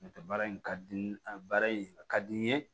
N'o tɛ baara in ka di a ye baara in a ka di n ye